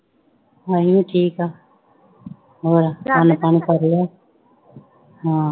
ਅਸੀਂ ਵੀ ਠੀਕ ਹਾਂ ਹੋਰ ਖਾਣਾ ਪਾਣੀ ਕਰ ਲਿਆ ਹਾਂ